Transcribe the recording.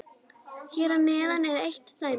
Hér að neðan er eitt dæmi: